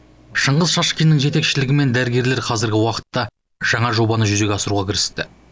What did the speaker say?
шыңғыс шашкиннің жетекшілігімен дәрігерлер қазіргі уақытта жаңа жобаны жүзеге асыруға кірісті